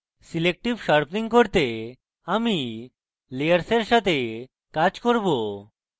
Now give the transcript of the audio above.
selective sharpening করতে আমি layers সাথে কাজ করব